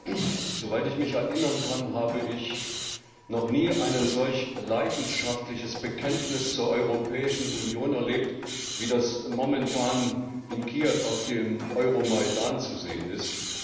Herr Präsident! Soweit ich mich erinnern kann, habe ich noch nie ein solch leidenschaftliches Bekenntnis zur Europäischen Union erlebt, wie das momentan in Kiew auf dem Euromaidan zu sehen ist.